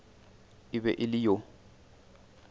e be e le yo